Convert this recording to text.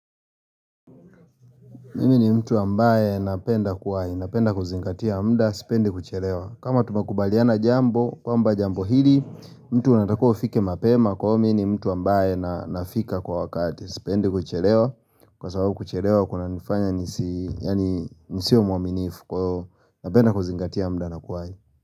Mimi ni mtu ambaye napenda kuwai, napenda kuzingatia mda, sipende kuchelewa. Kama tumekubaliana jambo, kwamba jambo hili, mtu anatakiwa kufika mapema, kwa hiyo mimi ni mtu ambaye na nafika kwa wakati, sipende kuchelewa. Kwa sababu kuchelewa kunanifanya nihisi, yani sio mwaminifu, napenda kuzingatia mda na kuwai.